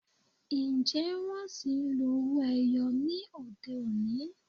Ǹjẹ́ wón ṣì ń lo owó - ẹyọ ní òde-òní?